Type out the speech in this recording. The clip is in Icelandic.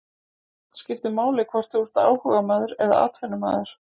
Skiptir máli hvort þú ert áhugamaður eða atvinnumaður?